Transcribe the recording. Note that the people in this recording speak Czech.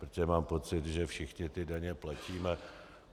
Protože mám pocit, že všichni ty daně platíme.